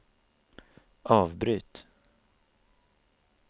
avbryt